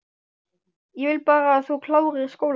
Ég vil bara að þú klárir skólann